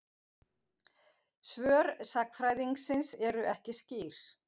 Svör sagnfræðingsins eru ekki skýr.